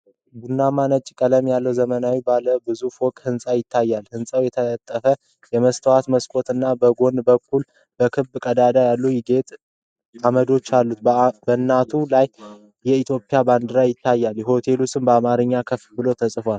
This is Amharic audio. ቡናማና ነጭ ቀለም ያለው ዘመናዊ ባለ ብዙ ፎቅ ሕንፃ ይታያል። ሕንጻው የታጠፈ የመስታወት መስኮቶች እና በጎን በኩል በክብ ቀዳዳዎች ያሉት የጌጥ ዓምዶች አሉት። በአናቱ ላይ የኢትዮጵያ ባንዲራ ይታያል፤ የሆቴል ስም በአማርኛ ከፍ ብሎ ተጽፏል።